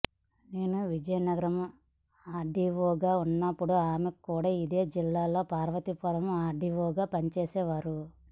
నేను విజయనగరం ఆర్డీవోగా ఉన్నప్పుడు ఆమె కూడా ఇదే జిల్లాలోని పార్వతీపురం ఆర్డీవోగా పనిచేసేవారు